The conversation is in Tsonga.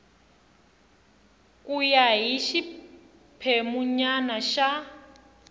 ku ya hi xiphemunyana xa